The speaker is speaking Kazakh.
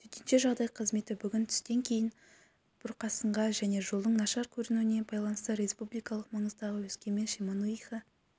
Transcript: төтенше жағдай қызметі бүгін түстен кейін бұрқасынға және жолдың нашар көрінуіне байланысты республикалық маңыздағы өскемен шемонаиха